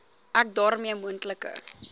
ek daarmee moontlike